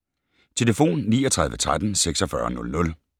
Telefon: 39 13 46 00